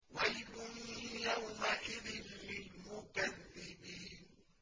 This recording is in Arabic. وَيْلٌ يَوْمَئِذٍ لِّلْمُكَذِّبِينَ